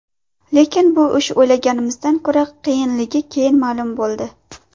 Lekin bu ish o‘ylaganimizdan ko‘ra qiyinligi keyin ma’lum bo‘ldi.